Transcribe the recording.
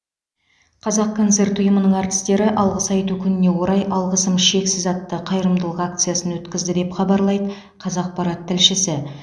қазақконцерт ұйымының әртістері алғыс айту күніне орай алғысым шексіз атты қайырымдылық акциясын өткізді деп хабарлайдыы қазақпарат тілшісі